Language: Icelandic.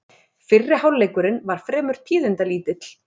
Fyrri hálfleikurinn var fremur tíðindalítill